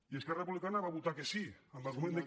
i esquerra republicana hi va votar que sí amb l’argument que